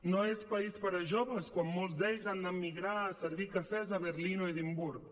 no és país per a joves quan molts d’ells han d’emigrar a servir cafès a berlín o edimburg